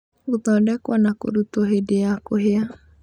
Gũthondekwo na kũrutwo hĩndĩ ya kũhĩa